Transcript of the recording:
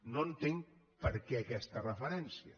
no entenc per què aquesta referència